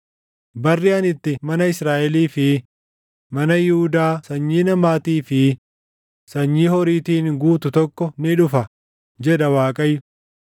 “Barri ani itti mana Israaʼelii fi mana Yihuudaa sanyii namaatii fi sanyii horiitiin guutu tokko ni dhufa” jedha Waaqayyo.